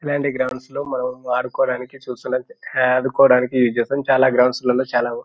ఇలాంటి గ్రౌండ్స్ లో మనం వాడుకోడానికి చూస్తుంటాం. ఆడుకోడానికి ఉస్ చేస్తాం. చాలా గ్రౌండ్స్ లలో చాలా--